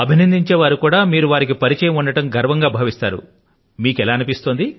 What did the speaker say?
అభినందించే వారికి కూడాను వారు సైతం గర్వపడుతూ ఉండి ఉంటారనుకుంటాను ఎందుకంటే వారు మిమ్ములను ఎరుగుదురు అని